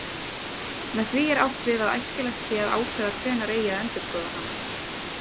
Með því er átt við að æskilegt sé að ákveða hvenær eigi að endurskoða hana.